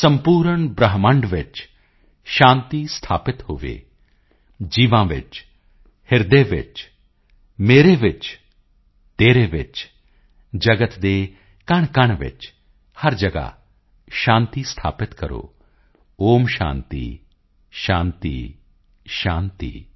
ਸੰਪੂਰਨ ਬ੍ਰਹਿਮੰਡ ਵਿੱਚ ਸ਼ਾਂਤੀ ਸਥਾਪਿਤ ਹੋਵੇ ਜੀਵਾਂ ਵਿੱਚ ਹਿਰਦੇ ਵਿੱਚ ਮੇਰੇ ਵਿੱਚ ਤੇਰੇ ਵਿੱਚ ਜਗਤ ਦੇ ਕਣਕਣ ਵਿੱਚ ਹਰ ਜਗਾ ਸ਼ਾਂਤੀ ਸਥਾਪਿਤ ਕਰੋ ਓਮ ਸ਼ਾਂਤੀ ਸ਼ਾਂਤੀ ਸ਼ਾਂਤੀ॥